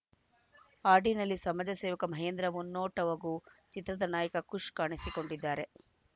ಹಾಡಿನಲ್ಲಿ ಸಮಾಜ ಸೇವಕ ಮಹೇಂದ್ರ ಮುನ್ನೋಟ್‌ ಹಾಗೂ ಚಿತ್ರದ ನಾಯಕ ಕುಶ್‌ ಕಾಣಿಸಿಕೊಂಡಿದ್ದಾರೆ